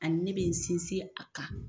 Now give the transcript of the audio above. Ani ne bɛ n sinsin a kan